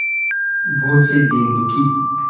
बहुत से दीन दुखी